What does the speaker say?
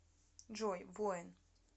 джой воин